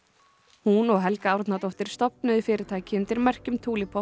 hún og Helga Árnadóttir stofnuðu fyrirtæki undir merkjum